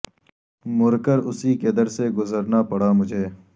مر کر اسی کے در سے گزرنا پڑا مجھے